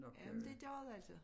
Ja men det gør det altså